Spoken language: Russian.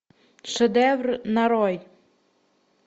шедевр нарой